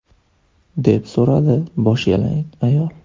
– deb so‘radi boshyalang ayol.